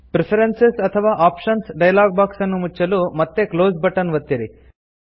preferences ಅಥವಾ options dialog box ಅನ್ನು ಮುಚ್ಚಲು ಮತ್ತೆ ಕ್ಲೋಸ್ ಬಟನ್ ಒತ್ತಿರಿ